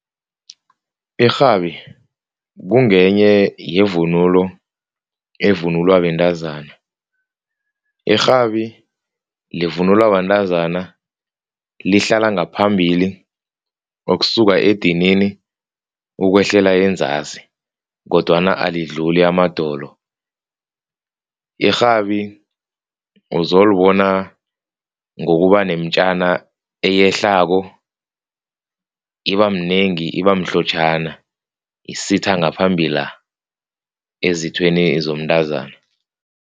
Irhabi kungenye yevunulo evunulwa bentazana. Irhabi livunulwa bantazana, lihlala ngaphambili ukusuka edinini ukwehlela enzasi kodwana alidluli amadolo. Irhabi uzolibona ngokuba nemitjana eyehlako. Ibaminengi, iba mhlotjhana isitha ngaphambila ezithweni zomntazana.